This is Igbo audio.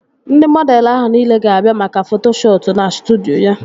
Ndị mọdelụ ahụ nile ga-abịa maka foto shuutu na studyo